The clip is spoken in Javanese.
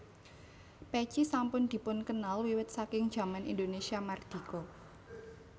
Pèci sampun dipunkenal wiwit saking jaman Indonesia Mardika